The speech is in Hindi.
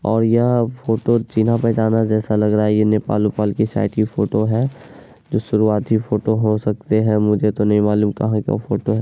और यहाँ फोटो चीन्हा पहचाना जैसा लग रहा है | ये नेपाल - वेपाल की शायद ये फोटो है जो शुरुआती फोटो हो सकती है| मुझे तो नहीं मालूम कहाँ का फोटो है।